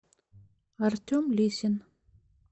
артем лисин